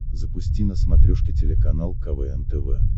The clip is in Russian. запусти на смотрешке телеканал квн тв